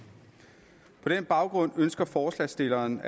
baggrund ønsker forslagsstillerne